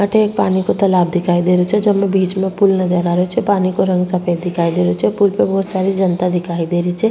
अठे एक पानी को तालाब दिखाई देरो छे जेमे बिच में पूल नजर आ रेहो छे पानी को रंग सफ़ेद दिखाई देरो छे पूल पे बहुत सारी जनता दिखाई दे री छे।